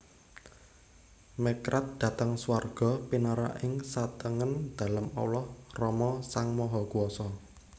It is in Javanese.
Mekrad dhateng swarga pinarak ing satengen Dalem Allah Rama Sang Mahakuwasa